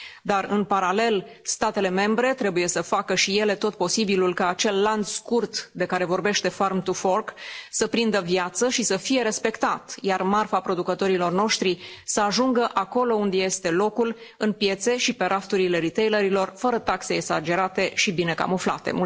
Dar, în paralel, statele membre trebuie să facă și ele tot posibilul ca acel lanț scurt de care vorbește Farm to Fork să prindă viață și să fie respectat, iar marfa producătorilor noștri să ajungă acolo unde îi este locul, în piețe și pe rafturile retailer ilor fără taxe exagerate și bine camuflate.